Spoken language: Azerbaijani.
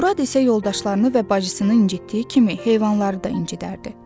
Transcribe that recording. Murad isə yoldaşlarını və bacısını incitdiyi kimi heyvanları da incitərdi.